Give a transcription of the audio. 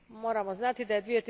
Moramo znati da je